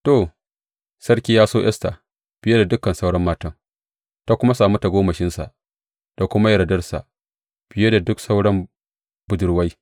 To, sarki ya so Esta fiye da duk sauran matan, ta kuma sami tagomashinsa da kuma yardarsa fiye da duk sauran budurwai.